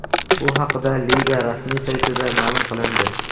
Bu haqida liga rasmiy saytida ma’lum qilindi .